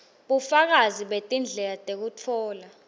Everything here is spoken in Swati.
bufakazi betindlela tekutfola